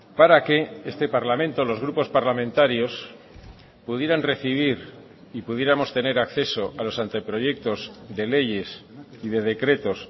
para que este parlamento los grupos parlamentarios pudieran recibir y pudiéramos tener acceso a los anteproyectos de leyes y de decretos